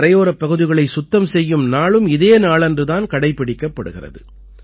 கரையோரப் பகுதிகளைச் சுத்தம் செய்யும் நாளும் இதே நாளன்று தான் கடைப்பிடிக்கப்படுகிறது